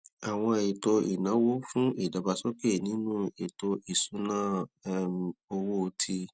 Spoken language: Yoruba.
àwọn ètò ìnáwó fún ìdàgbàsókè nínú ètò ìṣúnná um owó ti